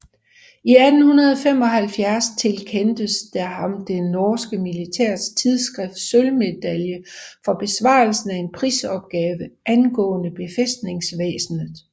I 1875 tilkendtes der ham det norske militære tidsskrifts sølvmedalje for besvarelsen af en prisopgave angående befæstningsvæsenet